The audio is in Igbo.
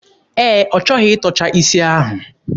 Ee, ọ chọghị ịtọcha isi ahụ.